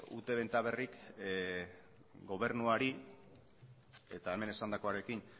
ute benta berrik gobernuari eta hemen esandakoarekin